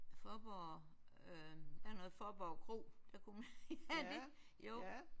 Fåborg øh der var noget Fåborg Kro der kunne man ja jo